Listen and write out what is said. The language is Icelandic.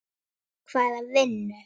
Hvaða vinnu?